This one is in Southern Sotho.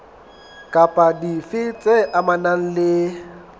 kapa dife tse amanang le